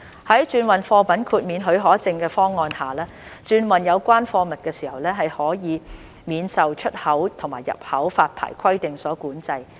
在轉運貨物豁免許可證方案下，轉運有關貨物時可以免受出口及入口發牌規定所管制。